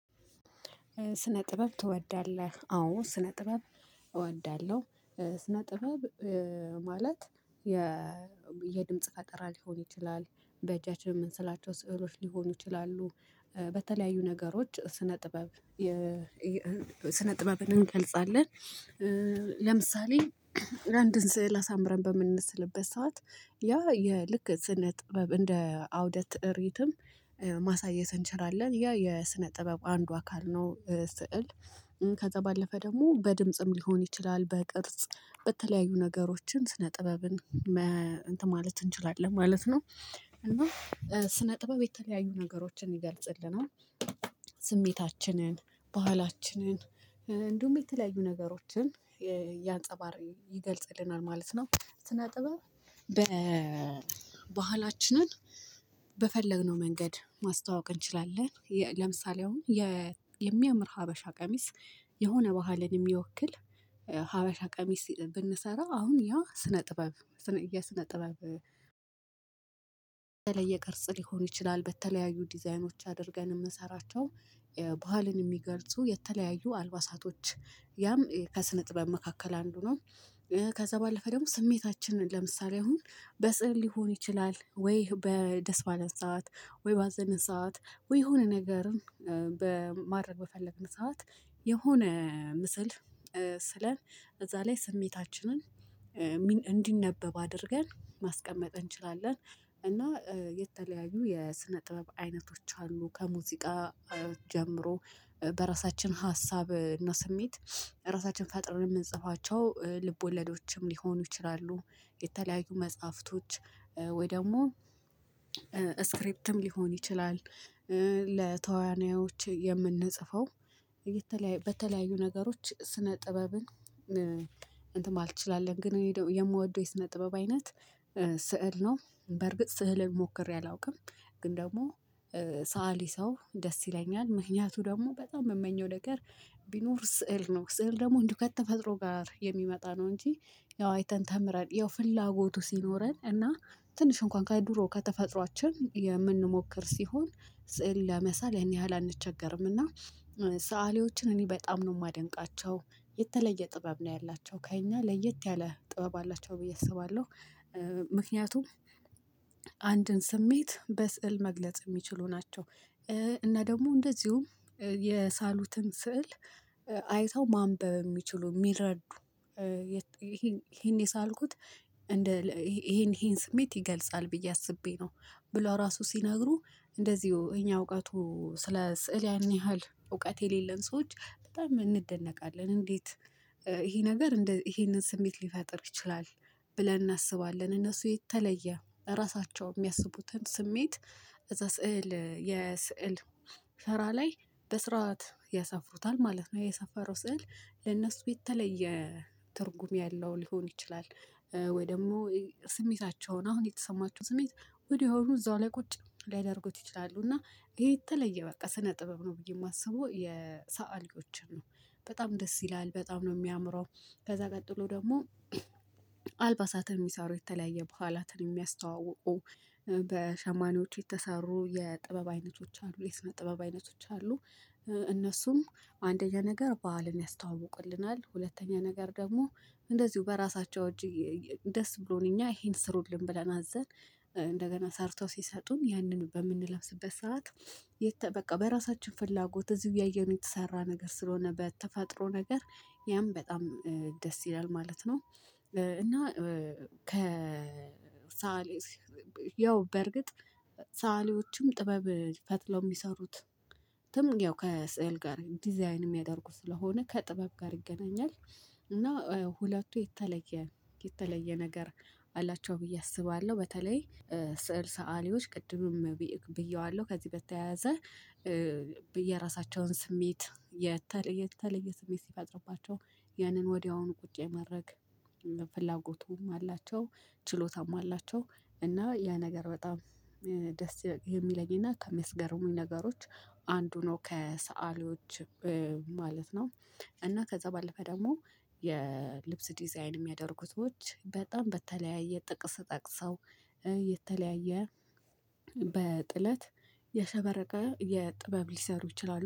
ስነ ጥበብ ትወዳለህ? አዎ ስነ ጥበብ እወዳለሁ። ስነ ጥበብ ማለት የድምጽ ፈጠራ ሊሆን ይችላል በእጃችን የምንስላቸው ስዕሎች ሊሆኑ ይችላሉ። በተለያዩ ነገሮች ስነ ጥበብ ስነ ጥበብን እንገልጻለን። ለምሳሌ ለአንድ ስዕል አሳምረን በምንነስልበት ሰዓት ያ የልክ ስነ ጥበብ እንደ አውደት እሪትም ማሳየት እንችላለን። ያ የስነ ጥበብ አንዱ አካል ነው። ስዕል ከዛ ባለፈ ደግሞ በድምጽም ሊሆን ይችላል በቅርጽ በተለያዩ ነገሮችን ስነ ጥበብን ጥበብን ማለት እንችላለን ማለት ነው። እና ስነ ጥበብ የተለያዩ ነገሮችን ይገልጽልናል። ስሜታችንን ባህላችንን እንዲሁም የተለያዩ ነገሮችን ያንጸባር ይገልጽልናል ማለት ነው። ስነ ጥበብ በባህላችንን በፈለግነው መንገድ ማስተዋወቅ እንችላለን። ለምሳሌ አሁን የሚያምር ሀበሻ ቀሚስ የሆነ ባህልን የሚወክል ሀበሻ ቀሚስ ብንሰራ አሁን ያ ስነ ጥበብ የስነ ጥበብ የተለየ ቅርጽ ሊሆን ይችላል በተለያዩ ዲዛይኖች አድርገን የምንሰራቸው ባህልን የሚገልጹ የተለያዩ አልባሳቶች ያም ከስነ ጥበብ መካከል አንዱ ነው። ከዛ ባለፈ ደግሞ ስሜታችንን ለምሳሌ አሁን በስዕል ሊሆን ይችላል ወይ በደስ ባለን ሰዓት ወይ ባዘንን ሰዓት ወይ የሆነ ነገርን በማድረግ በፈለግን ሰዓት የሆነ ምስል ስለ እዛ ላይ ስሜታችንን እንዲነበብ አድርገን ማስቀመጥ እንችላለን። እና የተለያዩ የስነ ጥበብ አይነቶች አሉ። ከሙዚቃ ጀምሮ በራሳችን ሀሳብ እና ስሜት ራሳችን ፈጥረን የምንጽፋቸው ልብ ወለዶችም ሊሆኑ ይችላሉ። የተለያዩ መጽሐፍቶች ወይ ደግሞ ስክሪፕትም ሊሆን ይችላል። ለተዋናዮች የምንጽፈው በተለያዩ ነገሮች ስነ ጥበብን። እንትን አትችላለን ግን የምወደው የስነ ጥበብ አይነት ስዕል ነው። በርግጥ ስዕል ሞክሬ አላውቅም ግን ደግሞ ሰአሊ ሰው ደስ ይለኛል ምክንያቱ ደግሞ በጣም የምመኘው ነገር። ቢኖር ስዕል ነው ስዕል ደግሞ እንደው ከተፈጥሮ ጋር የሚመጣ ነው። እንጂ ያው አይተን ተምረን ያው ፍላጎቱ ሲኖረን እና ትንሽ እንኳን ከድሮ ከተፈጥሮአችን የምንሞክር ሲሆን። ለመሳል ያን ያህል አንቸገርም እና ሰአሊዎችን እኔ በጣም ነው የማደንቃቸው። የተለየ ጥበብ ነው ያላቸው ከእኛ ለየት ያለ ጥበብ አላቸው ብዬ አስባለሁ። ምክንያቱም አንድን ስሜት በስዕል መግለጽ የሚችሉ ናቸው። እና ደግሞ እንደዚሁም የሳሉትን ስዕል አይተው ማንበብ የሚችሉ የሚረዱ ይሄን የሳልኩት ይሄን ስሜት ይገልጻል ብዬ አስቤ ነው። ብሎ ራሱ ሲነግሩ እንደዚሁ የኛ እውቀቱ ስለ ስዕል ያን ያህል እውቀት የሌለን ሰዎች በጣም እንደነቃለን። እንዴት? ይሄ ነገር ይሄንን ስሜት ሊፈጥር ይችላል። ብለን እናስባለን እነሱ የተለየ ራሳቸው የሚያስቡትን ስሜት እዛ ስዕል የስዕል ሰራ ላይ በስርዓት ያሰፍሩታል ማለት ነው። የሰፈረው ስዕል ለእነሱ የተለየ ትርጉም ያለው ሊሆን ይችላል። ወይ ደግሞ ስሜታቸውን አሁን የተሰማቸው ስሜት ወዲያኑ እዛው ላይ ቁጭ ሊያደርጉት ይችላሉ እና ይሄ የተለየ በቃ ስነ ጥበብ ነው። ብዬ የማስበው የሰአሊዎችን ነው በጣም ደስ ይላል በጣም ነው የሚያምረው። ከዛ ቀጥሎ ደግሞ አልባሳትን የሚሰሩ የተለያየ በዓላትን የሚያስተዋውቁ በሸማኔዎቹ የተሰሩ የጥበብ አይነቶች አሉ የስነ ጥበብ አይነቶች አሉ። እነሱም አንደኛ ነገር በዓልን ያስተዋውቁልናል ሁለተኛ ነገር ደግሞ እንደዚሁ በራሳቸው እጅግ ደስ ብሎን እኛ ይሄን ስሩልን ብለን አዘን። እንደገና ሰርተው ሲሰጡን ያንን በምንለብስበት ሰዓት በቃ በራሳችን ፍላጎት እዚህ እያየነው የተሰራ ነገር ስለሆነ በተፈጥሮ ነገር ያም በጣም ደስ ይላል ማለት ነው። እና ከሰዓሊው በርግጥ ሰዓሊዎችም ጥበብ ፈትለው የሚሰሩት ያው ከስዕል ጋር ዲዛይን የሚያደርጉ ስለሆነ ከጥበብ ጋር ይገናኛል። እና ሁለቱ የተለየ የተለየ ነገር አላቸው ብዬ አስባለሁ። በተለይ ስዕል ሰአሊዎች ቅድምም ብየዋለሁ ከዚህ በተያያዘ በየራሳቸውን ስሜት የተለየ የተለየ ስሜት ሲፈጥርባቸው ያንን ወዲያውኑ ቁጭ የማድረግ ፍላጎቱም አላቸው። ችሎታም አላቸው። እና ያ ነገር በጣም ደስ የሚለኝና ከሚያስገርሙኝ ነገሮች አንዱ ነው ከሰአሊዎች ማለት ነው። እና ከዛ ባለፈ ደግሞ የልብስ ዲዛይን የሚያደርጉት ብዙዎች በጣም በተለያየ ጥቅስ ጠቅሰው የተለያየ በጥለት የሸበረቀ የጥበብ ሊሰሩ ይችላሉ